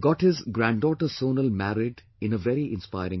got his granddaughter Sonal married in a very inspiring manner